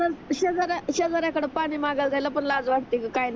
आणि शेजाऱ्या शेजाऱ्याकड पाणी मांगायला जायला पण लाज वाटते ग